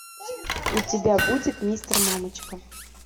у тебя будет мистер мамочка